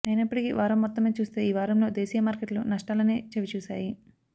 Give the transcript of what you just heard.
అయినప్పటికీ వారం మొత్తం మీద చూస్తే ఈ వారంలో దేశీయ మార్కెట్లు నష్టాలనే చవిచూశాయి